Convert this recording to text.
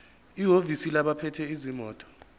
ehhovisi labaphethe izimoto